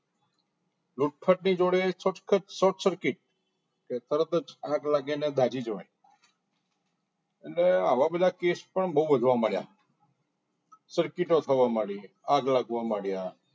લૂંટફાટ ની જોડે સખત short circuit કે તરત જ આગ લાગી ને દાજી જાય અને આવા બધા cash પણ બહુ વધવા માંડ્યા circuit થવા લાગી આગ લાગવા લાગી